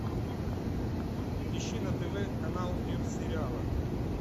ищи на тв канал мир сериала